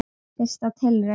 Fyrsta tilraun